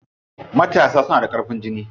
Matasa suna da ƙarfin jiki.